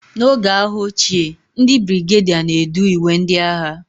N'oge agha oge ochie, ndị brigadier na-edu ìgwè ndị agha